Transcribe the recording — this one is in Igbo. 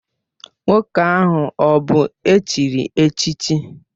Nwoke ahụ ọ bụ echiri echichi?